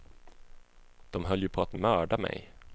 De höll ju på att mörda mig.